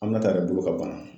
Aminata de dun be ka bana